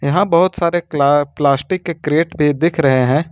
यहां बहुत सारे क्ला प्लास्टिक के क्रेट भी दिख रहे हैं।